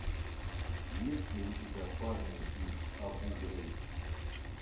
есть ли у тебя парни из абу грейб